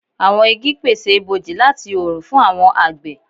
Awọn igi pese iboji lati oorun fun awọn agbe